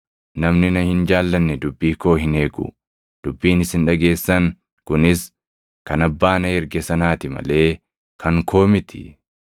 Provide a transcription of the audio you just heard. Namni na hin jaallanne dubbii koo hin eegu. Dubbiin isin dhageessan kunis kan Abbaa na erge sanaati malee kan koo miti.